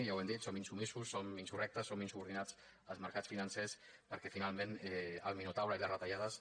ja ho hem dit som insubmisos som insurrectes som insubordinats als mercats financers perquè finalment el minotaure i les retallades